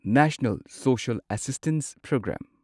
national social assistance programme